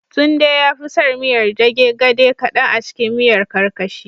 Tunde yafi son miyar dage gade kadan acikin miyar karkashi